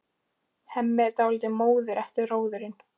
Hemmi er dálítið móður eftir róðurinn.